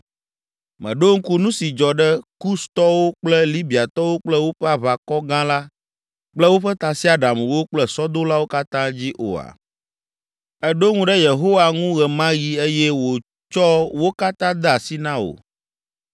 Mèɖo ŋku nu si dzɔ ɖe Kustɔwo kple Libiatɔwo kple woƒe aʋakɔ gã la kple woƒe tasiaɖamwo kple sɔdolawo katã dzi oa? Èɖo ŋu ɖe Yehowa ŋu ɣe ma ɣi eye wòtsɔ wo katã de asi na wò